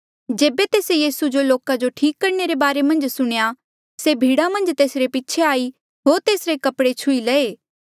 जेबे तेस्से यीसू जो लोका जो ठीक करणे रे बारे मन्झ सुणेया से भीड़ा मन्झ तेसरे पीछे आई होर तेसरे कपड़े छुही लये